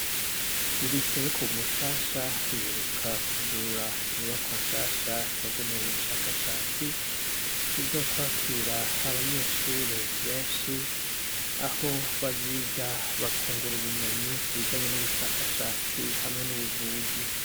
Irise yo Kumushasha iheruka kwugurura inyubakwa nshasha yagenewe ubushakashatsi izokwakira abanyeshure benshi aho baziga bakungura ubumenyi kubijanye n' ubushakashatsi hamwe n' ubuvuzi.